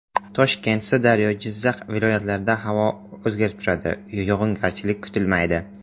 Toshkent, Sirdaryo, Jizzax viloyatlarida havo o‘zgarib turadi, yog‘ingarchilik kutilmaydi.